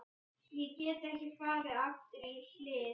Ég get ekki farið aftur í hlið